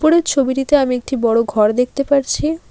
এই ছবিটিতে আমি একটি বড়ো ঘর দেখতে পারছি।